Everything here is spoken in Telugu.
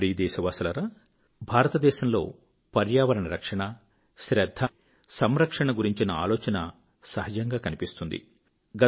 నా ప్రియ దేశవాసులారా భారతదేశంలో పర్యావరణ రక్షణ శ్రద్ధ అంటే సంరక్షణ గురించిన ఆలోచన సహజంగా కనిపిస్తుంది